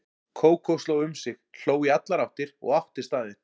Kókó sló um sig, hló í allar áttir og átti staðinn.